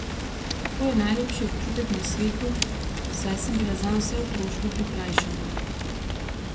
To je najlepši občutek na svetu, saj sem bila zanj vse otroštvo prikrajšana.